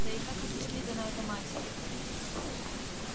да и как объяснит она это матери